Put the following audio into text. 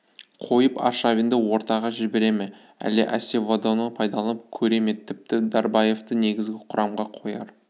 қойып аршавинді ортаға жібере ме әлде асеведоны пайдаланып көре ме тіпті дарабаевты негізгі құрамға қояр